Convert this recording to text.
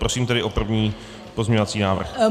Prosím tedy o první pozměňovací návrh.